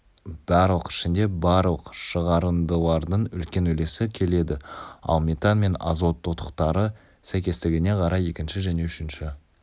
барлық ішінде барлық шығарындылардың үлкен үлесі келеді ал метан мен азот тотықтары сәйкестігіне қарай екінші және үшінші